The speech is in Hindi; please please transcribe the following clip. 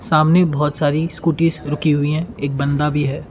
सामने बहुत सारी स्कूटीज रुकी हुई है एक बंदा भी है।